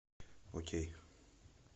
окей